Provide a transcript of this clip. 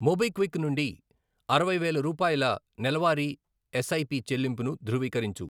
MobiKwik నుండి అరవై వేలు రూపాయల నెలవారీ ఎస్ఐపి చెల్లింపుని ధృవీకరించు.